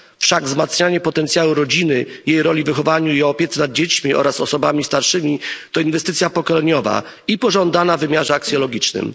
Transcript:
Wszak wzmacnianie potencjału rodziny i jej roli w wychowaniu i opiece nad dziećmi oraz osobami starszymi to inwestycja pokoleniowa i pożądana wymiarze aksjologicznym.